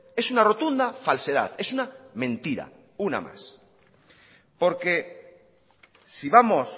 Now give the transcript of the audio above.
es una rotunda falsedad es una mentira una más porque si vamos